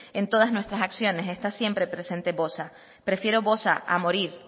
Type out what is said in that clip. en todas nuestras acciones está siempre presente bosa prefiero bosa a morir